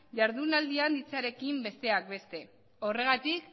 jardunaldian hitzarekin besteak beste horregatik